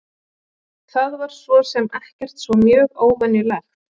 Það var svo sem ekkert svo mjög óvenjulegt.